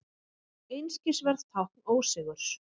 Einskisverð tákn ósigurs.